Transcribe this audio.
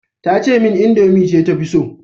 Tace min indomie ce ta fi so